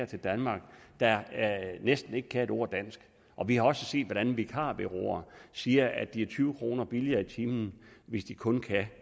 til danmark der næsten ikke kan et ord dansk og vi har også set hvordan vikarbureauer siger at de er tyve kroner billigere i timen hvis de kun kan